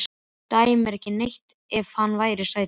Þú dæir ekki neitt ef hann væri sætur.